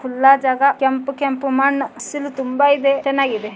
ಖುಲ್ಲಾ ಜಗ ಕೆಂಪ ಕೆಂಪ ಮಣ್ಣ ಹಸಿರು ತುಂಬಾ ಇದೆ ಚನ್ನಾಗಿದೆ .